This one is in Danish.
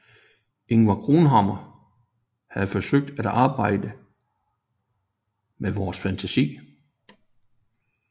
Ingvar Cronhammar havde forsøgt at arbejde med vor fantasi